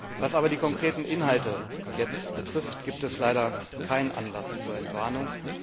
Was aber die konkreten Inhalte betrifft, gibt es leider keinen Anlass zur Entwarnung.